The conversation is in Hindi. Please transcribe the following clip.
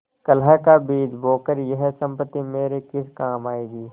कलह का बीज बोकर यह सम्पत्ति मेरे किस काम आयेगी